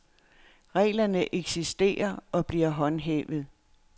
Reglerne eksisterer og bliver håndhævet.